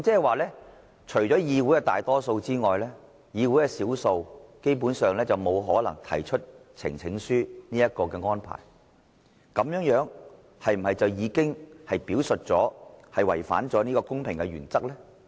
換言之，除了議會的大多數之外，議會少數，基本上沒有可能提出呈請書這個安排，這樣是否已經違反了公平原則呢？